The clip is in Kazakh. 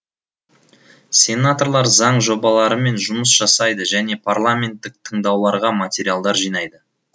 сенаторлар заң жобаларымен жұмыс жасайды және парламенттік тыңдауларға материалдар жинайды